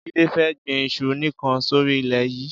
Jide fè gbin iṣu nikàn sóri ilè yi